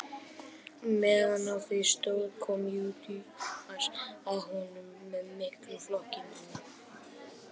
meðan á því stóð kom júdas að honum með miklum flokki manna